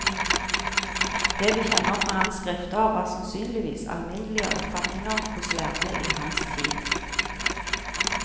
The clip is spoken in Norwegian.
Det vi kjenner fra hans skrifter, var sannsynligvis alminnelige oppfatninger hos lærde i hans tid.